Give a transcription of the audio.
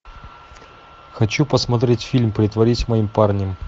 хочу посмотреть фильм притворись моим парнем